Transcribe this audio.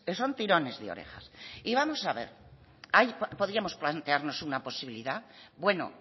son tirones de orejas y vamos a ver ahí podíamos plantearnos una posibilidad bueno